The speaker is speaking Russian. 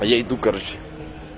а я иду короче